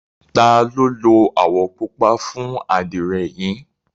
ta lo lo awọ pupa fun adire yi?